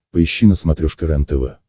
поищи на смотрешке рентв